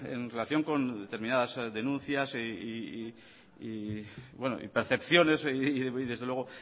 en relación con determinadas denuncias y percepciones y desde luego